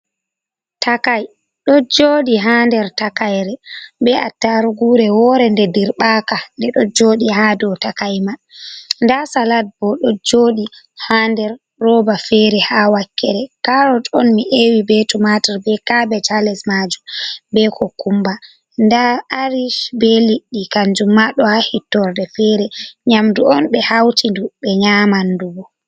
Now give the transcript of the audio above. Takai ɗo jooɗi ha der takaire to bee attaarugu re woore de dirɓaaka, ɗo jooɗi ha dow takai mai daa salat bo ɗo jooɗi ha nder rooba feere, haa wakkere karas on mi ewi be tumaatur be kaabeeji maajum bee kokumba daa arish bee lilli kanjum ma ɗo ha hittorde feere, nyamdu on ɓe hauti du, ɓe nyaaman du bo.